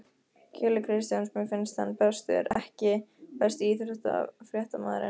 Keli Kristjáns mér finnst hann bestur EKKI besti íþróttafréttamaðurinn?